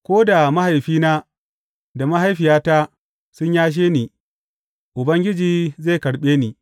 Ko da mahaifina da mahaifiyata sun yashe ni, Ubangiji zai karɓe ni.